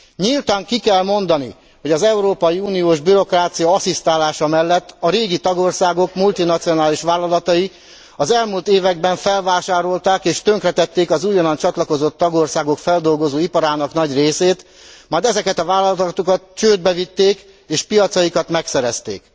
Nyíltan ki kell mondani, hogy az európai uniós bürokrácia asszisztálása mellett a régi tagországok multinacionális vállalatai az elmúlt években felvásárolták és tönkretették az újonnan csatlakozott tagországok feldolgozóiparának nagy részét, majd ezeket a vállalatokat csődbe vitték, és piacaikat megszerezték.